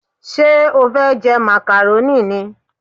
Ṣé o fẹ́ jẹ màkàrónì ni?